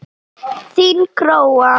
Þín Gróa.